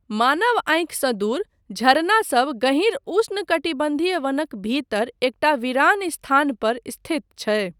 मानव आँखिसँ दूर, झरनासभ गहींर उष्णकटिबन्धीय वनक भीतर एकटा वीरान स्थान पर स्थित छै।